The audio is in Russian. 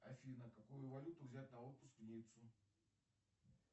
афина какую валюту взять на отпуск в ниццу